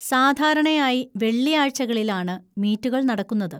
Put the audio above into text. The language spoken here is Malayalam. സാധാരണയായി വെള്ളിയാഴ്ചകളിലാണ് മീറ്റുകൾ നടക്കുന്നത്.